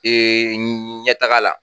ɲɛtaga la